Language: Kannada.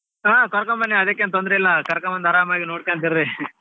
ಹಾ ಕರ್ಕೊಂಡ್ ಬನ್ನಿ ಅದಕ್ಕೇನ್ ತೊಂದ್ರೆ ಇಲ್ಲಾ ಕರ್ಕೊಂಡ್ ಬಂದ್ ಆರಾಮಾಗಿ ನೊಡ್ಕೊಂತ ಇರ್ರಿ.